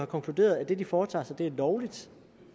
konkluderet at det de foretager sig er lovligt